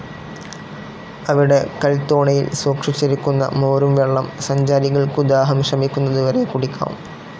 അവിടെ കൽത്തോണിയിൽ സൂക്ഷിച്ചിരിക്കുന്ന മോരുംവെള്ളം സഞ്ചാരികൾക്കു ദാഹം ശമിക്കുന്നതുവരെ കുടിക്കാം.